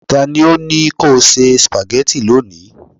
ta ni o ni ko se spaghetti loni